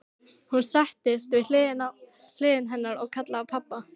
Hún settist við hlið hennar og kallaði á pabba.